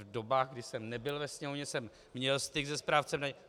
V dobách, kdy jsem nebyl ve Sněmovně, jsem měl styk se správcem daně.